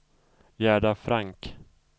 Gerda Frank